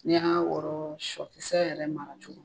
N'i y'a wɔrɔ sɔkisɛ yɛrɛ mara cogo